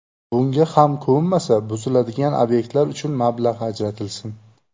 Bunga ham ko‘nmasa, buziladigan obyektlar uchun mablag‘ ajratilsin.